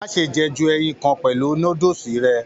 Má ṣe jẹ ju ẹyìn kàn pẹlú núdúsí rẹ!